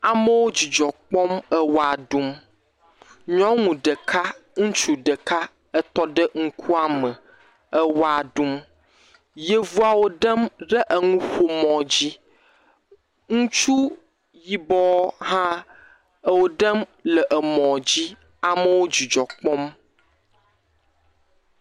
Amewo dzidzɔ kpɔm ewɔa ɖum, nyɔnu ɖeka ŋutsu ɖeka etɔ ɖe ŋkuame ewɔa ɖum, yevua wo ɖem emɔa dzi, ŋutsu yibɔ hã ewo ɖem emɔa dzi, amewo dzidzɔ kpɔm.